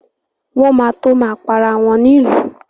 Wọ́n ma tó ma para wọn nílùú